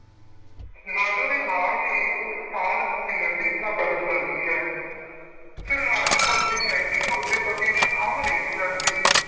ਲਾਜੋ ਦੇ ਨਾਲ ਹੀ ਉਸ ਸਾਧ ਨੂੰ ਮਿਲਣ ਦੀ ਇੱਛਾ ਪ੍ਰਗਟ ਕਰਦੀ ਹੈ ਫਿਰ ਲਾਜੋ ਦੱਸਦੀ ਹੈ ਕਿ ਉਸਦੇ ਪਤੀ ਦੀ ਖੰਘ ਨਹੀਂ ਸੀ ਹਟਦੀ।